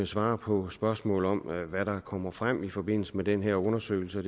svare på spørgsmål om hvad der kommer frem i forbindelse med den her undersøgelse og